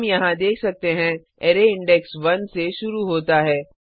हम यहाँ देख सकते हैं अरै इंडेक्स 1 से शुरू होता है